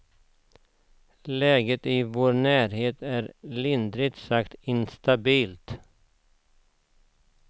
Läget i vår närhet är lindrigt sagt instabilt.